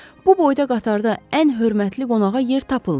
Bu boyda qatarda ən hörmətli qonağa yer tapılmır.